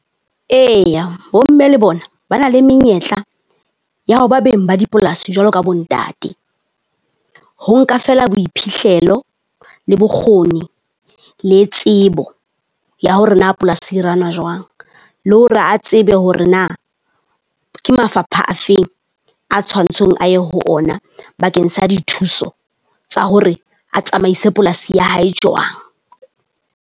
Eya bo mme le bona ba na le menyetla ya ho ba beng ba dipolasi jwalo ka bo ntate. Ho nka feela boiphihlelo le bokgoni le tsebo ya hore na a polasi e run-wa jwang, le hore a tsebe hore na ke mafapha a feng a tshwantseng a ye ho ona bakeng sa dithuso tsa hore a tsamaise polasi ya hae jwang.